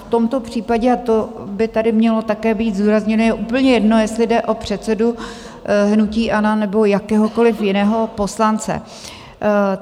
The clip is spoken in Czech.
V tomto případě, a to by tady mělo také být zdůrazněno, je úplně jedno, jestli jde o předsedu hnutí ANO, nebo jakéhokoliv jiného poslance.